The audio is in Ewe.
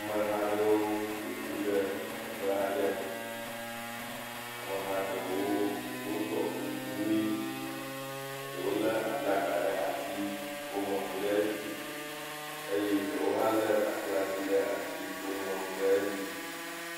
Ameha ɖewo ƒoƒu ɖe teƒe aɖe. Ameha aɖewo ɖɔ kuku ɣi, eɖewo le aflaga ɖe asi, eoŋlɔ nu ɖe eɖzi eye eɖe hã le kakla ti ɖe asi, woŋlɔ nu ɖe edzi.